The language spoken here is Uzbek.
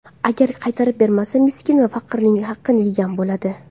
Agar qaytarib bermasa, miskin va faqirning haqini yegan bo‘ladi.